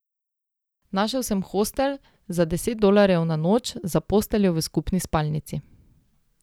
Našel sem hostel za deset dolarjev na noč za posteljo v skupni spalnici.